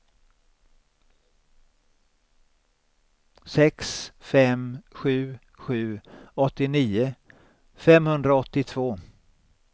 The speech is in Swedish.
sex fem sju sju åttionio femhundraåttiotvå